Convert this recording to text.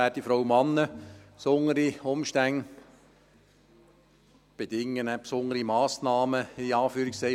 Besondere Umstände bedingen «besondere Massnahmen», in Anführungszeichen.